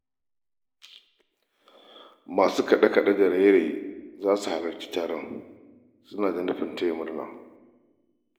Masu kaɗe-kaɗe da raye-raye za su halarci taron suna da nufin taya murna.